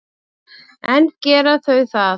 En gera þau það?